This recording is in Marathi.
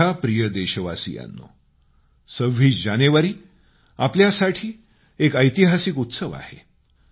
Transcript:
माझ्या प्रिय देशवासियांनो 26 जानेवारी आपल्यासाठी एक ऐतिहासिक पर्व आहे